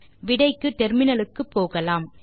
விடைக்கு terminal க்கு போகலாம்